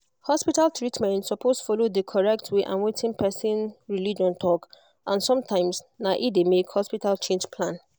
hospital treatment suppose follow d correct way and wetin person religion talk and sometimes na e de make hospital change plan